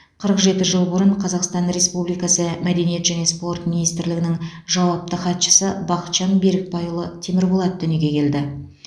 қырық жеті жыл бұрын қазақстан республикасы мәдениет және спорт министрлігінің жауапты хатшысы бақытжан берікбайұлы темірболат дүниеге келді